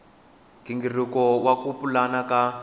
nghingiriko wa ku pulana ka